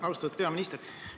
Austatud peaminister!